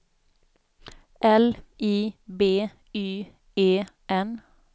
L I B Y E N